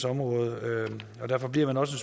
område derfor bliver man også